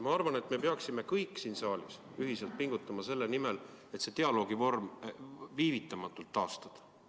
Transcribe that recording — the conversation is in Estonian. Ma arvan, et me peaksime kõik siin saalis ühiselt pingutama selle nimel, et see dialoog viivitamatult taastada.